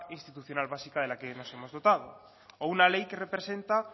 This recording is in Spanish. institucional básica de la que nos hemos dotado o una ley que representa